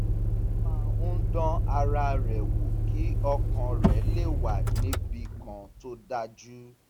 ó máa ń dán ara rẹ̀ wò kí ọkàn rẹ̀ le wà níbì kan tó dájú